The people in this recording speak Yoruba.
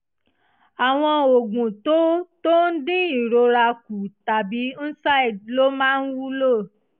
àwọn oògùn tó tó ń dín ìrora kù tàbí nsaid ló máa wúlò